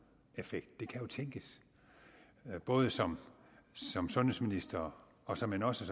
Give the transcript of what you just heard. effekt det kan jo tænkes både som som sundhedsminister og såmænd også